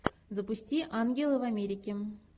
запусти ангелы в америке